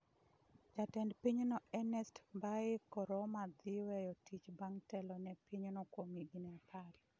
Jatend pinyno Ernest Bai Koroma dhi weyo tich bang' telo ne pinyno kuom higni apar.